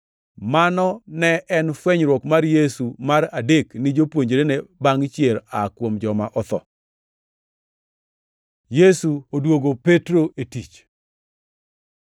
Mano ne en fwenyruok mar Yesu mar adek ni jopuonjrene bangʼ chier aa kuom joma otho. Yesu odwogo Petro e tich